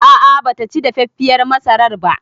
A'a bataci dafaffiyar masarar ba